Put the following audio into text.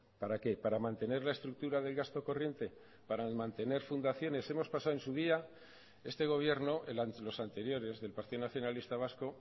para qué para mantener la estructura del gasto corriente para mantener fundaciones hemos pasado en su día este gobierno los anteriores del partido nacionalista vasco